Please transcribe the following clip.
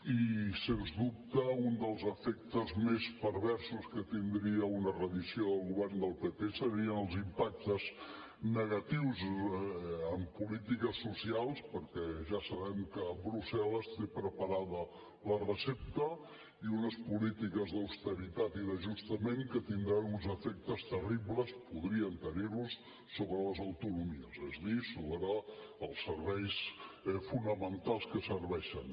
i sens dubte un dels efectes més perversos que tindria una reedició del govern del pp serien els impactes negatius en polítiques socials perquè ja sabem que brussel·les té preparada la recepta i unes polítiques d’austeritat i d’ajustament que tindran uns efectes terribles podrien tenir los sobre les autonomies és a dir sobre els serveis fonamentals que serveixen